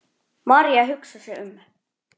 María hugsar sig um.